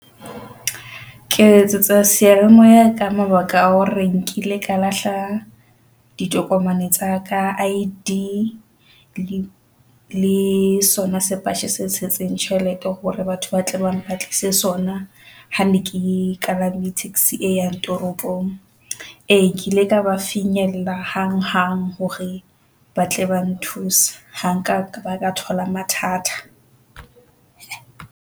Ke letsetsa seyalemoya ka mabaka a hore nkile ka lahla ditokomane tsa ka I_D le sona sepatjhe se tshetseng tjhelete hore batho ba mo ba tle ba mpatlise sona. Ha ne ke palame taxi e yang toropong. E kile ka ba finyella hang-hang hore ba tle ba nthusa. Ha nka thola mathata.